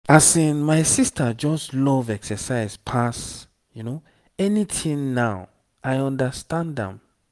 asin my sister just love exercise pass anything now i understand am.